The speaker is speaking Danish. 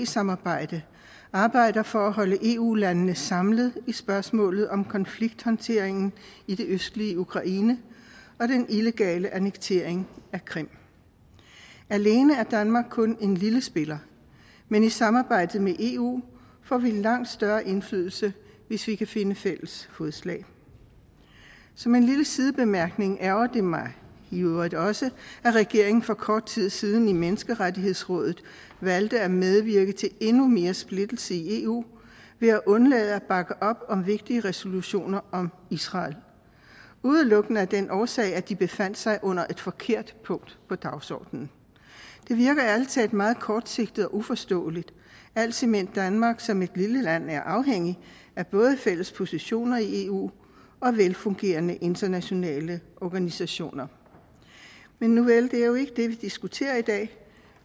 samarbejde arbejder for at holde eu landene samlet i spørgsmålet om konflikthåndteringen i det østlige ukraine og den illegale annektering af krim alene er danmark kun en lille spiller men i samarbejdet med eu får vi langt større indflydelse hvis vi kan finde fælles fodslag som en lille sidebemærkning ærgrer det mig i øvrigt også at regeringen for kort tid siden i menneskerettighedsrådet valgte at medvirke til endnu mere splittelse i eu ved at undlade at bakke op om vigtige resolutioner om israel udelukkende af den årsag at de befandt sig under et forkert punkt på dagsordenen det virker ærlig talt meget kortsigtet og uforståeligt alt imens danmark som et lille land er afhængig af både fælles positioner i eu og af velfungerende internationale organisationer men nuvel det er jo ikke det vi diskuterer i dag